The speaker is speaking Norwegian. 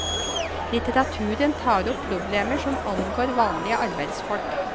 Litteraturen tar opp problemer som angår vanlige arbeidsfolk.